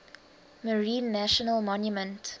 marine national monument